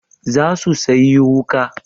Za su sayi wuƙa.